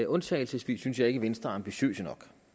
undtagelsesvis synes jeg ikke at venstre er ambitiøst nok